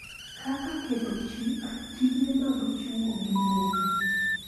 Kaka ketho chik, tije mag chwo gi mon,